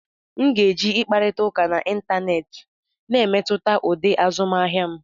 M ga-eji ịkparịta ụka n'Ịntanet na-emetụta ụdị azụmahịa m.